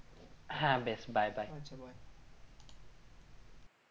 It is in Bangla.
হ্যাঁ বেশ bye bye